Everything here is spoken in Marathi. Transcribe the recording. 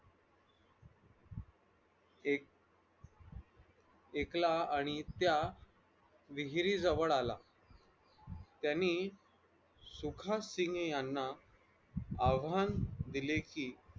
एक ऐकला आणि त्या विहिरीजवळ आला त्यांनी सुखासिन्ग याना आव्हाहन दिले कि